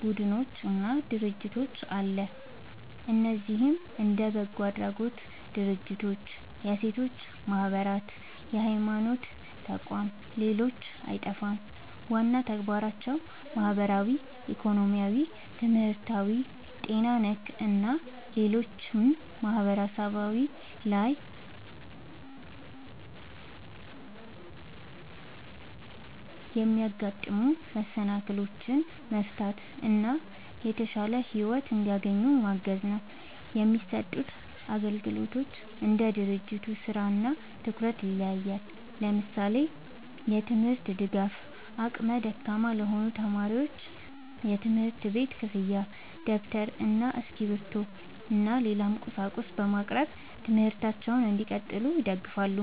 ቡድኖች እና ድርጅቶች አለ። እነዚህም እንደ በጎ አድራጎት ድርጅቶች፣ የሴቶች ማህበራት፣ የሀይማኖት ተቋም ሌሎችም አይጠፉም። ዋና ተግባራቸውም ማህበራዊ፣ ኢኮኖሚያዊ፣ ትምህርታዊ፣ ጤና ነክ እና ሌሎችም ማህበረሰብ ላይ የሚያጋጥሙ መሰናክሎችን መፍታት እና የተሻለ ሒወት እንዲያገኙ ማገዝ ነው። የሚሰጡት አግልግሎት እንደ ድርጅቱ ስራ እና ትኩረት ይለያያል። ለምሳሌ፦ የትምርት ድጋፍ አቅመ ደካማ ለሆኑ ተማሪዎች የትምህርት ቤት ክፍያ ደብተር እና እስክሪብቶ እና ሌላም ቁስ በማቅረብ ትምህርታቸውን እንዲቀጥሉ ይደግፋሉ